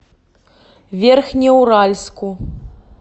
верхнеуральску